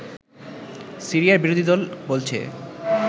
সিরিয়ার বিরোধীদল বলছে